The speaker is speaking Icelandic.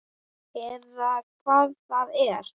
Eða hvað það er.